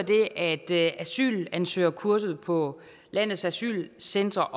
det at asylansøgerkurset på landets asylcentre